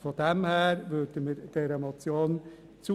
Insofern stimmen wir dieser Motion zu.